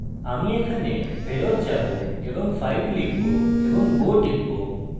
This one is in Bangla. আমি এখানে ফেরত যাবো এবং 5 লিখবো এবং go type